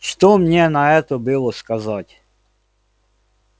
что мне на это было сказать